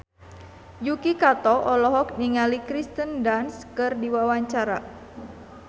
Yuki Kato olohok ningali Kirsten Dunst keur diwawancara